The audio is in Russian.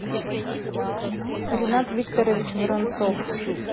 ринат викторович воронцов